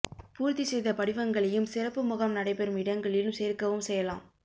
பூர்த்தி செய்த படிவங்களையும் சிறப்பு முகாம் நடைபெறம் இடங்களில் சேர்க்கவும் செய்யலாம்